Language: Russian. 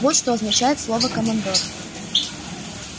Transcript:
вот что означает слово командор